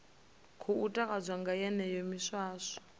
khou takadzwa nga yeneyo miswaswo